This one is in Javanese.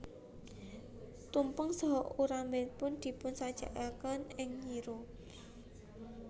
Tumpeng saha ubarampenipun dipunsajekaken ing nyiru